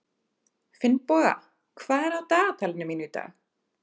Finnboga, hvað er á dagatalinu mínu í dag?